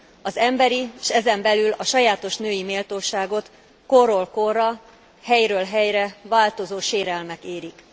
Az emberi, s ezen belül a sajátos női méltóságot korról korra, helyről helyre változó sérelmek érik.